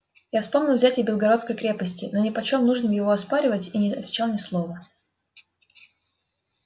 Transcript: я вспомнил взятие белогорской крепости но не почёл нужным его оспаривать и не отвечал ни слова